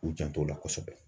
U jant'o la kosɛbɛ